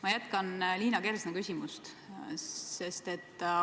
Ma jätkan Liina Kersna küsimust.